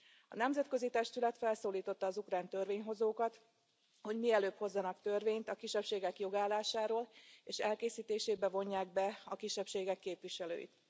A nemzetközi testület felszólította az ukrán törvényhozókat, hogy mielőbb hozzanak törvényt a kisebbségek jogállásáról, és elkészítésébe vonják be a kisebbségek képviselőit.